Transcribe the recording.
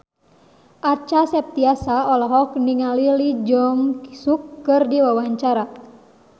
Acha Septriasa olohok ningali Lee Jeong Suk keur diwawancara